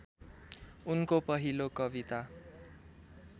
उनको पहिलो कविता